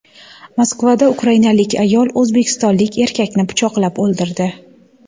Moskvada ukrainalik ayol o‘zbekistonlik erkakni pichoqlab o‘ldirdi.